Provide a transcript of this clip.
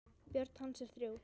Börn hans eru þrjú.